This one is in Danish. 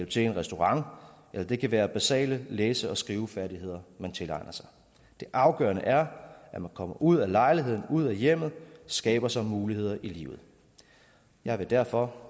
til i en restaurant eller det kan være basale læse og skrivefærdigheder man tilegner sig det afgørende er at man kommer ud af lejligheden ud af hjemmet og skaber sig muligheder i livet jeg vil derfor